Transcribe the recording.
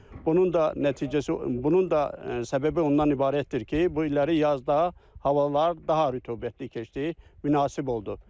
Bunun da nəticəsi, bunun da səbəbi ondan ibarətdir ki, bu illəri yazda havalar daha rütubətli keçdi, münasib oldu.